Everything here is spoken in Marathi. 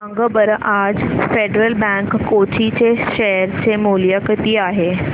सांगा बरं आज फेडरल बँक कोची चे शेअर चे मूल्य किती आहे